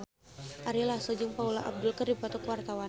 Ari Lasso jeung Paula Abdul keur dipoto ku wartawan